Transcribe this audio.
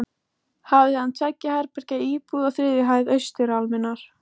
Hafði hann tveggja herbergja íbúð á þriðju hæð austurálmunnar.